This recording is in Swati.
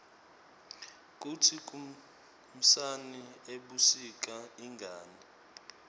kutsi kunsani ebusika ingani